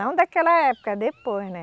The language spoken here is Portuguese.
Não daquela época, depois, né?